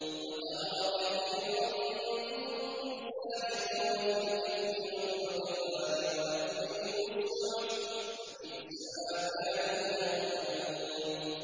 وَتَرَىٰ كَثِيرًا مِّنْهُمْ يُسَارِعُونَ فِي الْإِثْمِ وَالْعُدْوَانِ وَأَكْلِهِمُ السُّحْتَ ۚ لَبِئْسَ مَا كَانُوا يَعْمَلُونَ